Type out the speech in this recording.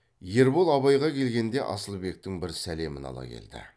ербол абайға келгенде асылбектің бір сәлемін ала келді